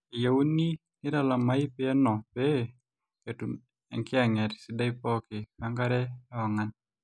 eyieuni neitalami peno pee etum enkiyanget sidai pooki, wenkare weong'an